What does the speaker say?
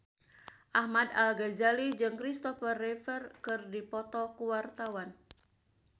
Ahmad Al-Ghazali jeung Christopher Reeve keur dipoto ku wartawan